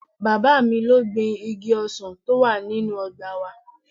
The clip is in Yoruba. Bàbá mi ló gbin igi ọsàn tó wà nínú ọgbà wa